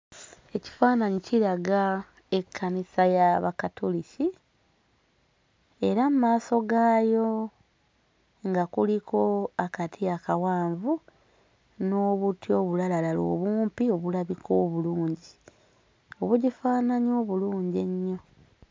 Ekifaannyi kiraga ekkanisa y'Abakatuliki era mu maaso gaayo nga kuliko akati akawanvu n'obuti obulalalala obumpi obulabika obulungi, obugifaananya obulungi ennyo.